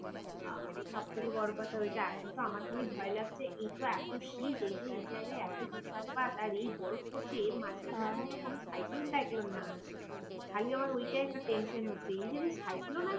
সব থেকে বড় কথা ওইটা এখন তো আমার খালি ভয় লাগছে এই তো এত শীত এই যে এই জায়গায় এত তুষারপাত এই বরফ পড়ছে এর মাঝখানে আবার কোন cyclone টাইক্লোন না আসে খালি আমার ওইটাই একটা টেনশন হচ্ছে এই যদি cyclone আসে